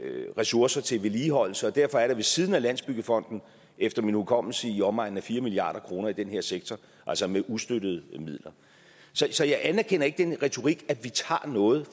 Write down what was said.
ressourcer til vedligeholdelse og derfor er der ved siden af landsbyggefonden efter min hukommelse i omegnen af fire milliard kroner i den her sektor altså med ustøttede midler så jeg anerkender ikke den retorik at vi tager noget